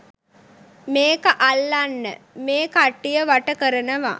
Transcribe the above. මේක අල්ලන්න මේ කට්ටියව වට කරනවා.